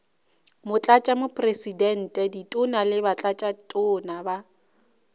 motlatšamopresidente ditona le batlatšatona ba